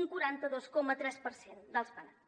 un quaranta dos coma tres per cent dels penats